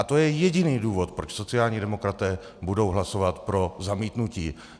A to je jediný důvod, proč sociální demokraté budou hlasovat pro zamítnutí.